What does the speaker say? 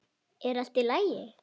Er allt í lagi?